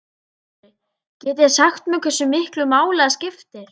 Andri: Getið þið sagt mér hversu miklu máli það skiptir?